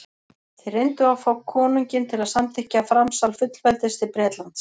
þeir reyndu að fá konunginn til að samþykkja framsal fullveldis til bretlands